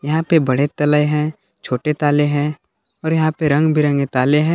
यहां पे बढ़े तले हैं छोटे ताले हैं और यहां पे रंग बिरंगे ताले हैं।